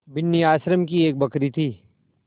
बिन्नी आश्रम की एक बकरी थी